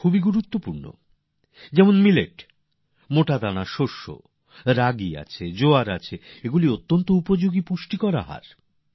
এখন যেমন মিলেটস মোটাদানার শষ্য যেমন বাজরা জোয়ার এগুলি খুব উপযোগী পুষ্টিকর খাদ্য